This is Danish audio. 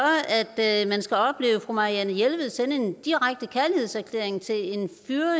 at man skal opleve fru marianne jelved sende en direkte kærlighedserklæring til en